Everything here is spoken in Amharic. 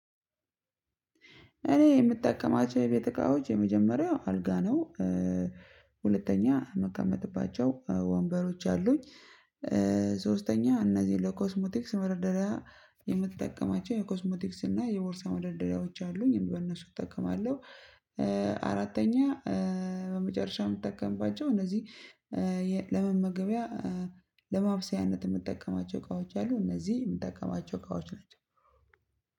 እኔ የምጠቀማቸው የቤት እቃዎች የመጀመሪያው አልጋ ነው። ሁለተኛ ምቀመጥባቸው ወንበሮች አሉኝ። ሶስተኛ እነዚህ ለኮስሞቲክስ መርደሪያ የምትጠቀማቸው የኮስሜቲክስ እና የቦርሳ መደርደሪያዎች አሉኝ በእነሱ እጠቀማለሁ። አራተኛ በመጨረሻ የምትጠቀምባቸው እነዚህ ለመመገቢያ ለማብሰያነት የምጠቀማቸው እቃዎች አሉ እነዚህ የምጠቀማቸው እቃዎች ናቸው።